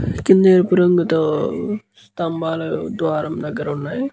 కింద ఎరుపు రంగుతో స్తంభాలు ధ్వారము దగ్గర వున్నాయి.